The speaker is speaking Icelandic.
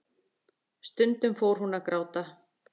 Stundum fór hún að gráta.